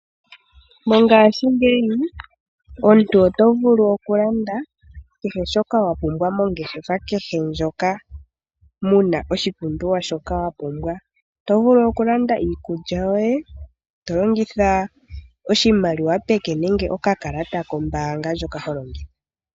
Mongaashingeyi omuntu otovulu okulanda kehe shoka wapumbwa mongeshefa kehe ndjoka muna oshipumbiwa shoka wapumbwa. Oto vulu okulanda iikulya yoye tolongitha oshimaliwa peke nenge okakalata kombaanga ndjoka ho longitha.